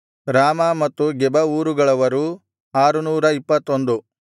ರಾಮಾ ಮತ್ತು ಗೆಬ ಊರುಗಳವರು 621